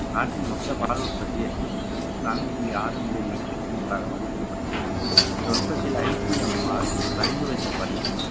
நாட்டின் மொத்த பால் உற்பத்தி எட்நூத்~ எண்பத்தி நான்கு புள்ளி ஆறு million metric tonne களாக மதிப்பிடப்பட்டுள்ளது இந்த உற்பத்தியில் ICMR பரிந்துரைத்தபடி